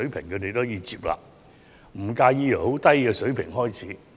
他們表示可以接納，不介意由低水平開始。